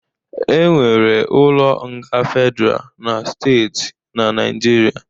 E nwere ụlọ nga fedra na steeti n'Naijiria